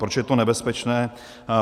Proč je to nebezpečné?